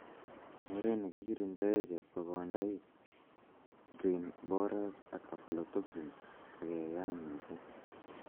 Oret nekikirindoe chepkokondaik, grain borers ak aflotoxin ko keyaam misiing